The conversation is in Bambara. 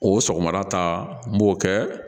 O sɔgɔmada ta n b'o kɛ